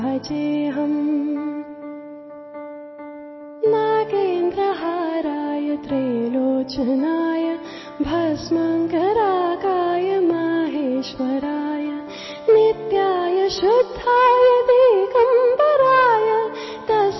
বাণীবদ্ধ করা একটি অংশ